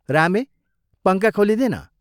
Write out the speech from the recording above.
रामे पंखा खोलिदे न।